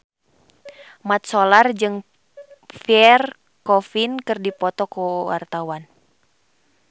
Mat Solar jeung Pierre Coffin keur dipoto ku wartawan